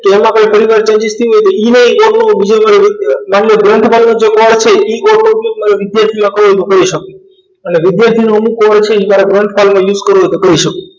કે એમાં કોઈ પરીવર્તન થયું હોય ઇ માનલો ઇ સકો અને વિદ્યાર્થી use કરવો હોય તો કરી સકો